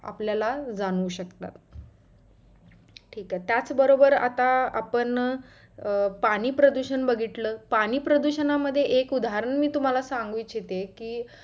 आपल्याला जाणवु शकतात ठीक आहे त्याच बरोबर आता आपण अं पाणी प्रदुषण बघितला पाणी प्रदुषणा मध्ये एक उदाहरण तुम्हाला मी सांगू शकते कि